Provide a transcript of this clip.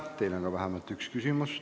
Teile on ka vähemalt üks küsimus.